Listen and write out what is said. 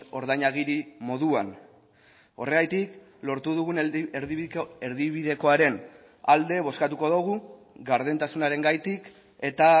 ordainagiri moduan horregatik lortu dugun erdibidekoaren alde bozkatuko dugu gardentasunarengatik eta